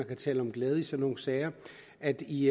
kan tale om glæde i sådanne sager at i